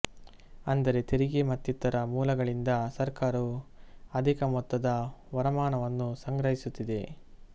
ಅಂದರೆ ತೆರಿಗೆ ಮತ್ತಿತರ ಮೂಲಗಳಿಂದ ಸರ್ಕಾರವು ಅಧಿಕ ಮೊತ್ತದ ವರಮಾನವನ್ನು ಸಂಗ್ರಹಿಸುತ್ತಿದೆ